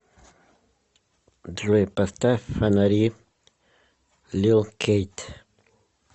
джой поставь фонари лил кейт